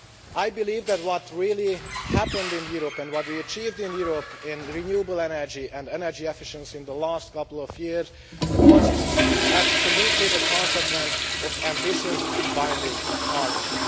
I believe that what has really happened in Europe and what we have achieved in Europe in renewable energy and energy efficiency in the last couple of years has absolutely been the consequence of ambitious binding targets.